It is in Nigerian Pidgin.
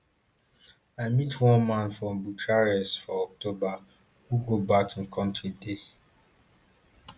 i meet one man for bucharest for october who go back im kontri dey